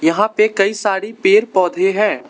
यहाँ पे कई सारी पेड़ पौधे हैं।